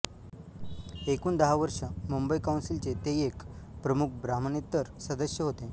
एकूण दहा वर्षे मुंबई काउन्सिलचे ते एक प्रमुख ब्राम्हणेतर सदस्य होते